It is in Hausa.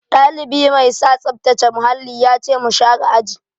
Ɗalibi mai sa tsaftace muhalli ya ce mu share aji.